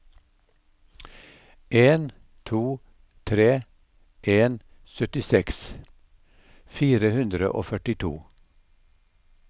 en to tre en syttiseks fire hundre og førtito